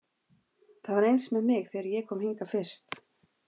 Það var eins með mig þegar ég kom hingað fyrst.